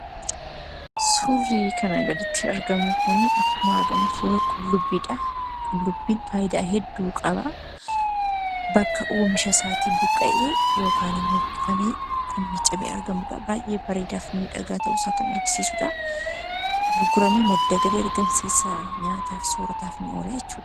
Suurri kana gaditti argamu kunii ,akkuma argamu suura qullubbiidhaa ,qullubbiin faayidaa hedduu qabaa bakka oomisha isaatiin buqqa'ee yookaan immoo buqqifamee kan miiccamee argamudhaa, baay'ee bareeda fi miidhagaa ta'uu isaa kan argisiisudhaa, gurguramee madda galii argamsiisaa nyaataaf soorataaf ni oolaa jechuudha.